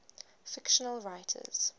fictional writers